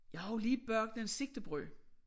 Jeg har jo lagt bagt nogle sigtebrød